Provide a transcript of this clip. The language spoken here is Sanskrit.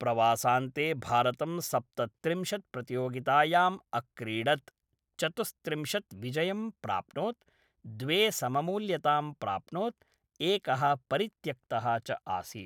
प्रवासान्ते भारतं सप्तत्रिंशत् प्रतियोगितायां अक्रीडत्, चतुस्त्रिंशत् विजयं प्राप्नोत्, द्वे सममूल्यतां प्राप्नोत्, एकः परित्यक्तः च आसीत्।